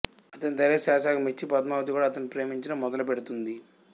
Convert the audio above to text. అతని ధైర్యసాహసాలకు మెచ్చి పద్మావతి కూడా అతన్ని ప్రేమించడం మొదలుపెడుతుంది